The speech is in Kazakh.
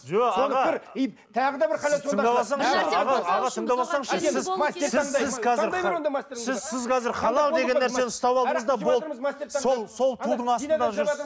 жоқ аға сіз қазір халал деген нәрсені ұстап алдыңыз да болды сол сол тудың астында жүрсіз